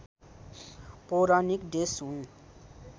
पौराणिक देश हुन्